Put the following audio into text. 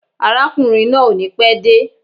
Arákùnrin náà ò ní pé de